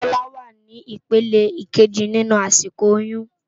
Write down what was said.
Bola wá ni ipélé ikéji ninú àsikó óyùn